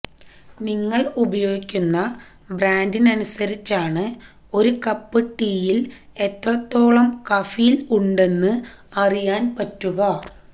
നിങ്ങൾ ഉപയോഗിക്കുന്ന ബ്രാന്റിനനുസരിച്ചാണ് ഒരു കപ്പ് ടീയിൽ എത്രത്തോളം കഫീൻ ഉണ്ടെന്ന് അറിയാൻ പറ്റുക